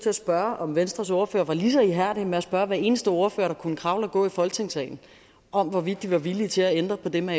at spørge om venstres ordfører var ligeså ihærdig med at spørge hver eneste ordfører der kunne kravle og gå i folketingssalen om hvorvidt de var villige til at ændre på det med